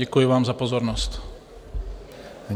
Děkuji vám za pozornost.